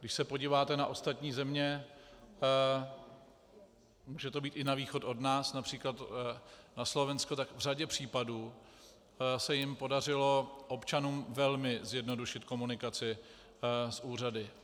Když se podíváte na ostatní země, může to být i na východ od nás, například na Slovensko, tak v řadě případů se jim podařilo občanům velmi zjednodušit komunikaci s úřady.